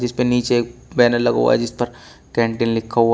उसके नीचे एक बैनर लगा हुआ है जिस पर कैंटीन लिखा हुआ।